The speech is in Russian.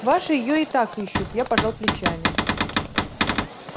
ваши её и так ищут я пожал плечами